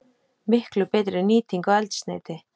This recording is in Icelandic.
Miklu betri nýting á eldsneyti.